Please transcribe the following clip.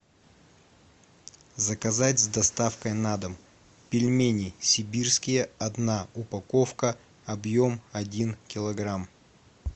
заказать с доставкой на дом пельмени сибирские одна упаковка объем один килограмм